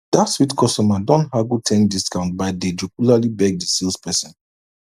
dat sweet customer don haggle ten discount by dey jocularly beg di sales person